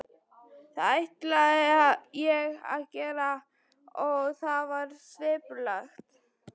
Það ætlaði ég að gera og það var skipulagt.